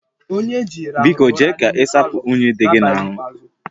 Biko jee ka ị sapụ unyi dị gị n'ahụ